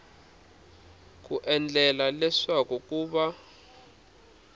ku endlela leswaku ku va